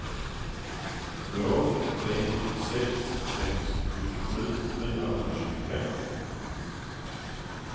två tre sex sex sjuttiosju fyrahundratjugotre